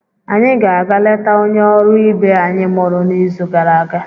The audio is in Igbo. anyị ga-aga letaa onye ọrụ ibe anyị mụrụ n'izu gara aga.